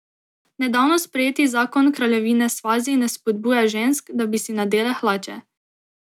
Nedavno sprejeti zakon Kraljevine Svazi ne spodbuja žensk, da bi si nadele hlače.